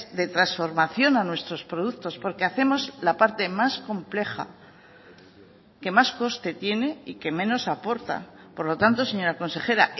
de transformación a nuestros productos porque hacemos la parte más compleja que más coste tiene y que menos aporta por lo tanto señora consejera